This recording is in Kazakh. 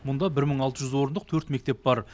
мұнда бір мың алты жүз орындық төрт мектеп бар